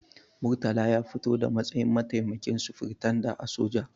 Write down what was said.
Murtala ya fito da matsayin mataimakin sufiritanda a soja.